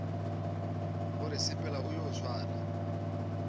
gore sepela o yo swara